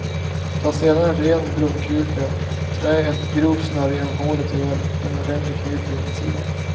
Ta sedan en ren blomkruka, trä ett grovt snöre genom hålet och gör en ordentlig knut på insidan.